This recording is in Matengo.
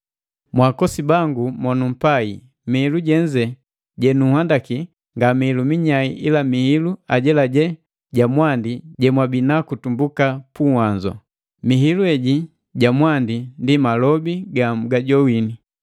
Mwaakosi bangu mo numpai, mihilu jenze jenuanhandaki nga mihilu minyai ila mihilu ajelaje ja mwandi jemwabinaku tumbuka puhanzo. Mihilu heji ja mwandi ndi malobi ga mugajoini.